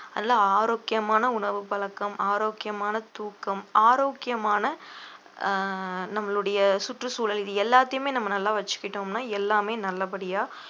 நல்லா ஆரோக்கியமான உணவு பழக்கம் ஆரோக்கியமான தூக்கம் ஆரோக்கியமான அஹ் நம்மளுடைய சுற்றுச்சூழல் இது எல்லாத்தையுமே நம்ம நல்லா வச்சுக்கிட்டோம்ன்னா எல்லாமே நல்லபடியா